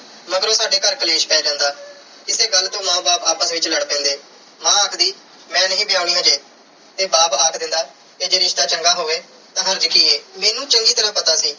ਮਗਰੋਂ ਸਾਡੇ ਘਰ ਕਲੇਸ਼ ਪੈ ਜਾਂਦਾ। ਇਸੇ ਗੱਲ ਤੋਂ ਮਾਂ ਬਾਪ ਆਪਸ ਵਿੱਚ ਲੜ ਪੈਂਦੇ। ਮਾਂ ਆਖਦੀ ਮੈਂ ਨਹੀਂ ਵਿਆਹੁਣੀ ਅਜੇ ਤੇ ਬਾਪ ਆਖ ਦਿੰਦਾ ਜੇ ਰਿਸ਼ਤਾ ਚੰਗਾ ਹੋਵੇ ਤਾਂ ਹਰਜ ਕੀ ਐ। ਮੈਨੂੰ ਚੰਗੀ ਤਰ੍ਹਾਂ ਪਤਾ ਸੀ